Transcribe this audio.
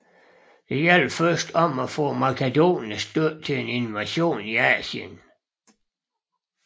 Det gjaldt først om at få makedonernes støtte til invasionen af Asien